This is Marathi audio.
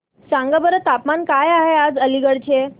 सांगा बरं तापमान काय आहे आज अलिगढ चे